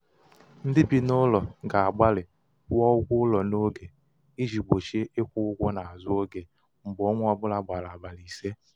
ndị bị n' ụlọ ga-agbalị kwụọ ụgwọ ụlọ n'oge iji gbochie ịkwụ ụgwọ n'azụ oge mgbe ọnwa ọ bụla gbara abalị ise.